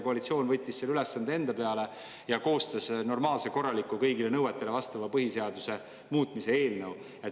Koalitsioon võttis selle ülesande enda peale ja koostas normaalse, korraliku, kõigile nõuetele vastava põhiseaduse muutmise eelnõu.